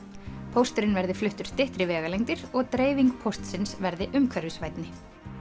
pósturinn verði fluttur styttri vegalengdir og dreifing póstsins verði umhverfisvænni